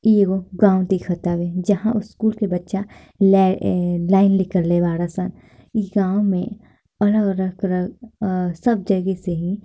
इ एगो गाँव देखता जहाँ स्कूल के बच्चा लै ए लाइन निकलले बाड़े सन गाँव में अलग-अलग तरह अ सब जगह से ही --